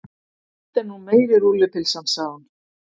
Þetta er nú meiri rúllupylsan, sagði hún.